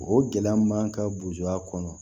O gɛlɛya man ka bo a kɔnɔ